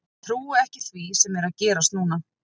Ég trúi ekki því sem er að gerast núna.